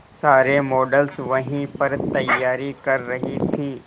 सारे मॉडल्स वहीं पर तैयारी कर रही थी